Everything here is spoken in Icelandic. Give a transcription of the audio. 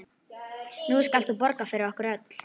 Nú skalt þú borga fyrir okkur öll.